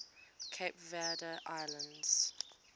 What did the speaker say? cape verde islands